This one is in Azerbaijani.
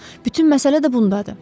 Bütün məsələ də bundadır.